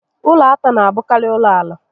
Ụlọ átá n'abụkarị ụlọ ala